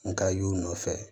N ka y'u nɔfɛ